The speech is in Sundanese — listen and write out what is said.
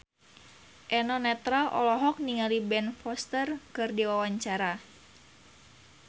Eno Netral olohok ningali Ben Foster keur diwawancara